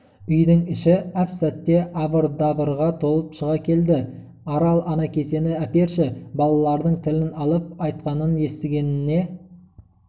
үйдің іші әп-сәтте абыр-дабырға толып шыға келді арал ана кесені әперші балалардың тілін алып айтқанын істегеніне